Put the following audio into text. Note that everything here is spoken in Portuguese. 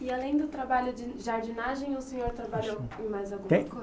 E além do trabalho de jardinagem, o senhor trabalhou em mais alguma coisa?